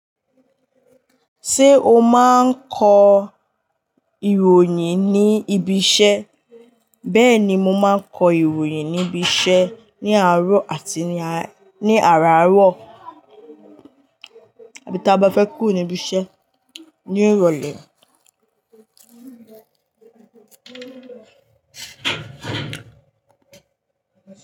Ṣé o máa ń kọ ìròyìn ní ibi iṣẹ́? Bẹ́ẹ̀ ni, mo máa ń kọ ìròyìn ní ibi iṣẹ́ ní àárọ̀ àti ní àràárọ̀ àbí táa bá fẹ́ kúrò ní ibi iṣẹ́ ní ìrọ̀lẹ́.